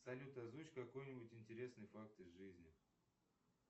салют озвучь какой нибудь интересный факт из жизни